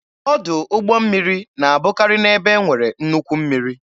Ọdụ ụgbọ mmiri na-abụkari n'ebe e nwere nnukwu mmiri.